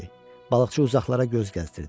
Balıqçı uzaqlara göz gəzdirdi.